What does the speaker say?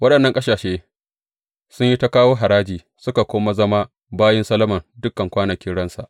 Waɗannan ƙasashe sun yi ta kawo haraji, suka kuma zama bayin Solomon dukan kwanakin ransa.